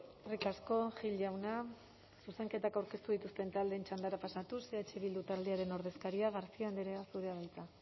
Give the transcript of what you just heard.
eskerrik asko gil jauna zuzenketak aurkeztu dituzten taldeen txandara pasatuz eh bildu taldearen ordezkaria garcia andrea zurea da hitza